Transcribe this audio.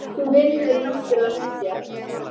Þú vinnur náttúrlega mikið á kvöldin.